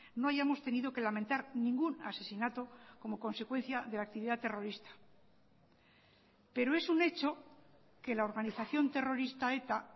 no hayamos tenido que lamentar ningún asesinato como consecuencia de la actividad terrorista pero es un hecho que la organización terrorista eta